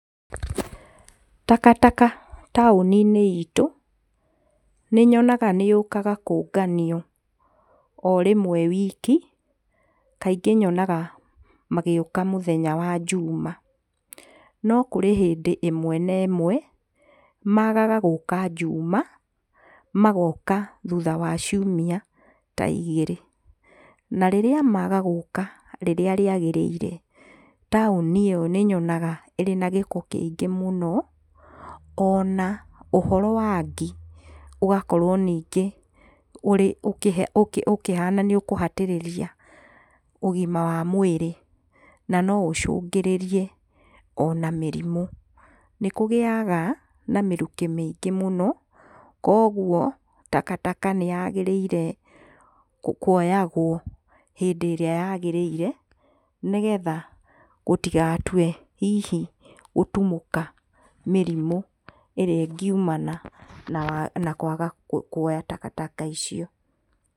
Takataka taũniinĩ ĩtũ nĩ nyonaga nĩyũkaga kũnganio o rĩmwe wiki, kaingĩ nyonaga magĩũka mũthenya wa juma. No kũrĩ hĩndĩ ĩmwe na ĩmwe, magaga gũka juma, magoka ta thutha wa ciumia ta igĩrĩ. Na rĩrĩa maga gũka rĩrĩa kwagĩrĩrire, taũni ĩyo nĩ nyonaga ĩrĩ na gĩko mũno, ona ũhoro wa ngi, ũgakorwo nyingĩ ũkĩhana nĩ ũkũhatĩrĩria ũgima wa mwĩrĩ. Nĩ kũgĩaga na mĩrukĩ mĩingĩ mũno, kwoguo takataka nĩyagĩrĩirwo kuoyagwo hĩndĩ ĩrĩa yagĩrĩire, gũtigatue hihi gũtumũka mĩrimũ ĩrĩa ĩngumana na kwaga kuoya takataka icio.